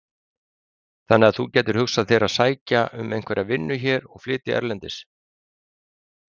Hafsteinn: Þannig þú gætir hugsað þér að sækja um einhverja vinnu hér og flytja erlendis?